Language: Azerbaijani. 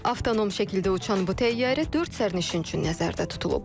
Avtonom şəkildə uçan bu təyyarə dörd sərnişin üçün nəzərdə tutulub.